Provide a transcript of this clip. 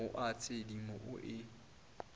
o a tshedimo o e